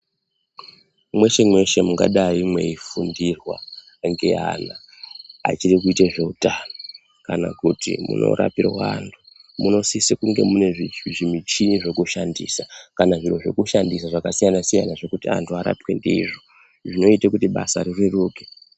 Mweshe-mweshe mungadai mweifundirwa ngeana achiri kuite zveutano, kana kuti munorapirwe anthu, munosise kunge mune zvimichhini zvekushandisa kana zviro zvekushandisa zvakasiyana-siyana zvekuti anthu arapwe ndizvo. Zvinoite kuti basa rireruke.